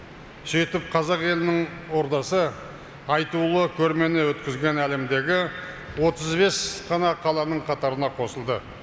сөйтіп қазақ елінің ордасы айтулы көрмені өткізген әлемдегі отыз бес қана қаланың қатарына қосылды